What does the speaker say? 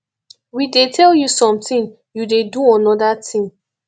we dey tell you something you dey dey do another thing